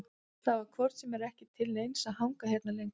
Það var hvort sem er ekki til neins að hanga hérna lengur.